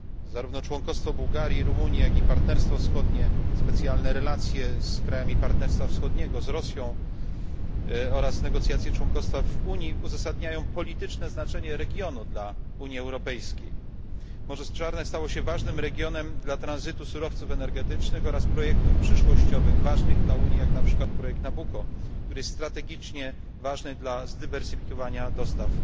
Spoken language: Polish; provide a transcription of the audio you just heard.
Zarówno członkostwo Bułgarii i Rumuni, jak i Partnerstwo Wschodnie, specjalne relacje z krajami Partnerstwa Wschodniego, z Rosją, oraz negocjacje członkostwa w Unii uzasadniają polityczne znaczenie regionu dla Unii Europejskiej. Morze Czarne stało się ważnym regionem dla tranzytu surowców energetycznych oraz przyszłościowych projektów ważnych dla Unii, jak na przykład projekt Nabucco, który jest strategicznie ważny dla zdywersyfikowania dostaw